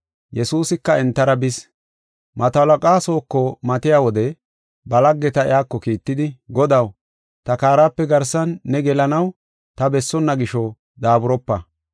Yesuusika entara bis. Mato halaqaa sooko matiya wode ba laggeta iyako kiittidi, “Godaw, ta kaarape garsan ne gelanaw ta bessonna gisho, daaburopa.